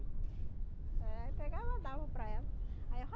eh aí pegava, dava para ela. Aí